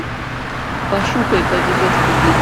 пошукай повезет в любви